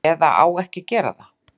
Eða á ekki að gera það.